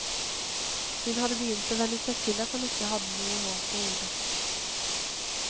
Hun hadde begynt å venne seg til at han ikke hadde noe hår på hodet.